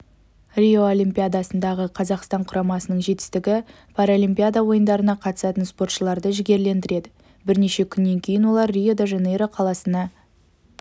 рио олимпиадасындағы қазақстан құрамасының жетістігі паралимпиада ойындарына қатысатын спортшыларды жігерлендіреді бірнеше күннен кейін олар рио-де-жанейро қаласына